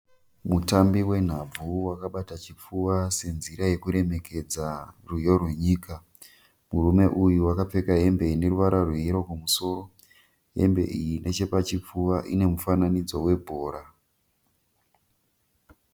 Mutambi wenhabvu wakabata chipfuva senzira yekuremekedza rwiyo rwenyika. Murume uyu akapfeka hembe ineruvara rwe yero kumusoro. Hembe iyi neche pachipfuva ine mufananidzo we bhora .